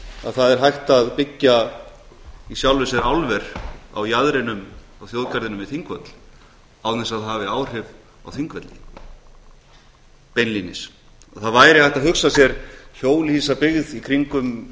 að það er hægt að byggja í sjálfu sér álver á jaðrinum á þjóðgarðinum við þingvöll án þess að það hafi áhrif á þingvelli beinlínis og það væri hægt að hugsa sér hjólhýsabyggð í kringum